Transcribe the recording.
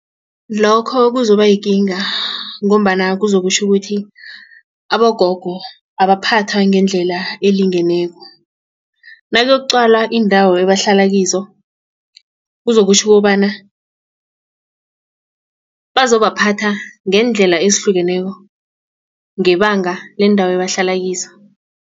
Lokho kuzobayikinga ngombana kuzokutjho ukuthi abogogo abaphathwa ngendlela elingeneko. Nakuyokuqalwa iindawo ebahlala kizo kuzokutjho ukobana bazobaphatha ngeendlela ezihlukeneko ngebanga leendawo abahlala kizo.